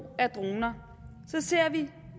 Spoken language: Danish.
af droner ser vi